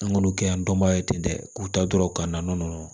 An k'olu kɛ yan dɔnbaga ye ten dɛ k'u ta dɔrɔn ka na nɔnɔ